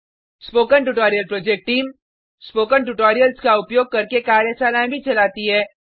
spoken tutorial project team spoken tutorials का उपयोग करके कार्यशालाएँ भी चलाती है